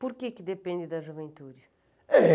Por que depende da juventude? Eh